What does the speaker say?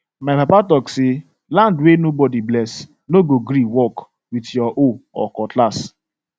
my papa talk say land wey nobody bless no go gree work with your hoe or cutlass